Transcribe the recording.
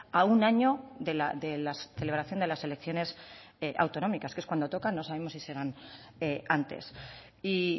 a un año de la celebración de las elecciones autonómicas que es cuando toca no sabemos si serán antes y